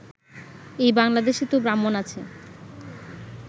এই বাংলাদেশে তো ব্রাহ্মণ আছে